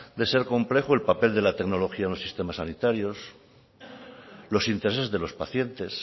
de ser complejo el papel de la tecnología en un sistema sanitario los intereses de los pacientes